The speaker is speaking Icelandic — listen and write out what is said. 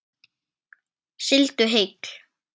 Sigldu heill.